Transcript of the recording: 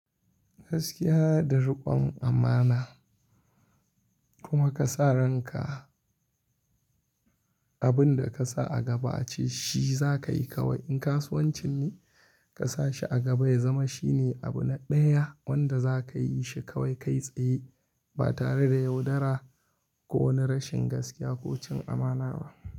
Gaskiya da riƙon amana kuma ka sa ranka abun da ka sa a gaba ce shi za ka yi kawai. In kasuwancin ne ka sa shi a gaba ya zama shine abu na ɗaya wanda za ka yi shi kawai kai tsaye ba tare da yaudara ko wani rashin gaskiya ko cin amana ba.